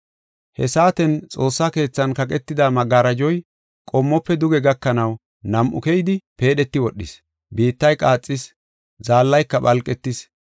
He saaten xoossa keethan kaqetida magaraajoy qommofe duge gakanaw nam7u keyidi, peedheti wodhis. Biittay qaaxis, zaallayka phalqetis.